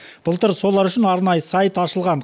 былтыр солар үшін арнайы сайт ашылған